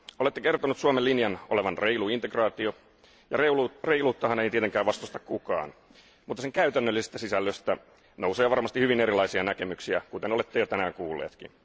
Olette kertonut Suomen linjan olevan reilu integraatio, ja reiluuttahan ei tietenkään vastusta kukaan, mutta sen käytännöllisestä sisällöstä nousee varmasti hyvin erilaisia näkemyksiä, kuten olette jo tänään kuullutkin.